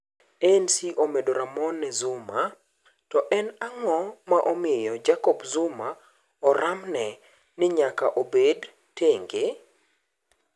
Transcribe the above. ANC omedo ramone Zuma To en ang'o ma omiyo Jacob Zuma oramne ni nyaka obed tenge?